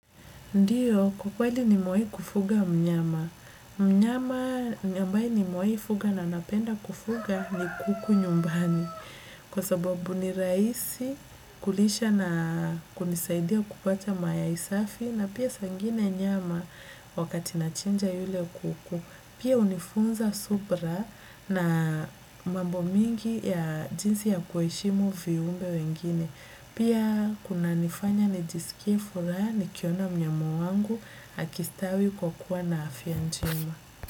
Ndio, kwa kweli nimewahi kufuga mnyama. Mnyama ambaye nimwahi kufuga na napenda kufuga ni kuku nyumbani. Kwa sababu ni rahisi kulisha na kunisaidia kupata mayai safi na pia saa ingine nyama wakati nachinja yule kuku. Pia hunifunza subra na mambo mingi ya jinsi ya kuheshimu viumbe wengine. Pia kunanifanya nijisikie furaha nikiona mnyama wangu akistawi kwa kuwa na afya njema.